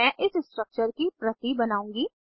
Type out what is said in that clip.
मैं इस स्ट्रक्चर की प्रति बनाउंगी